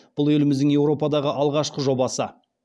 бұл еліміздің еуропадағы алғашқы жобасы